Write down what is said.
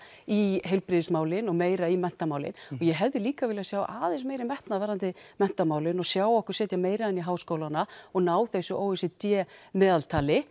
í heilbrigðismálin og meira í menntamálin og ég hefði líka viljað sjá aðeins meiri metnað varðandi menntamálin og sjá okkur setja meira inn í háskólana og ná þessu o e c d meðaltali